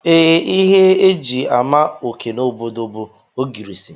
Ee, ihe e ji ama oké n'obodo m bụ ogirisi